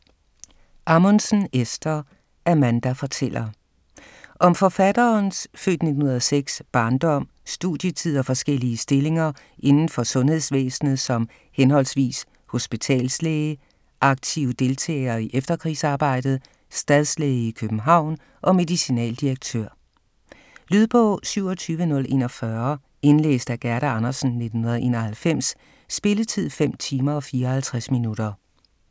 Ammundsen, Esther: Amanda fortæller Om forfatterens (f. 1906) barndom, studietid og forskellige stillinger inden for sundhedsvæsenet som henholdsvis hospitalslæge, aktiv deltager i efterkrigsarbejdet, stadslæge i København og medicinaldirektør. Lydbog 27041 Indlæst af Gerda Andersen, 1991. Spilletid: 5 timer, 54 minutter.